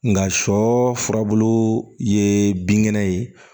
Nga sɔ furabulu ye binkɛnɛ ye